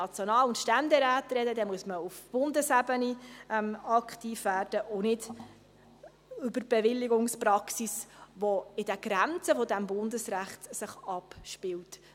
Dann müsste man auf Bundesebene aktiv werden und nicht an der Bewilligungspraxis schrauben, die sich in den Grenzen des Bundesrechts abspielt.